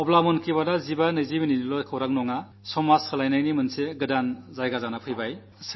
അതായത് മൻ കീ ബാത് 1520 മിനിട്ടു നേരത്തെ സംവാദമല്ല സാമൂഹിക പരിവർത്തനത്തിന്റെ പുതിയ അവസരം കൂടിയായി